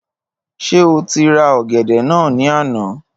Ṣé o ti ra ọ̀gẹ̀dẹ̀ náà ní àná?